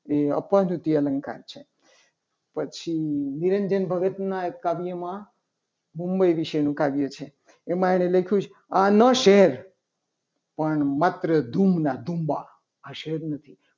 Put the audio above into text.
એ પ્રવૃત્તિ અલંકાર છે. પછી નિરંજન ભગતના એક કવિ કાવ્યમાં મુંબઈ વિશેનું કાવ્ય છે. એમાં એને લખ્યું છે. કે આના શહેર પણ માત્ર ધૂળના ધુમા આ શહેર નથી.